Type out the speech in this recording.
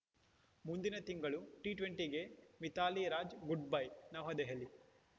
ಮುಂದಿನ ತಿಂಗಳು ಟಿ ಟ್ವೆಂಟಿಗೆ ಮಿಥಾಲಿ ರಾಜ್‌ ಗುಡ್‌ಬೈ ನವದೆಹಲಿ